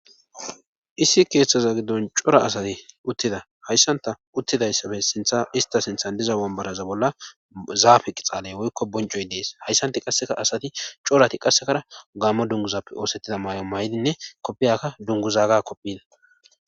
Issi keeththaza giddon cora asati uttida hayssanta uttidayssabe sintha ista sinthan diza bombaraza bolla zaafe qixaaley woykko boncoy dees hayssanti qasseka asati corati qassekara gaammo dunguzappe oosettida may7o may7dinne koppiyakka dunguzaaga kopphina.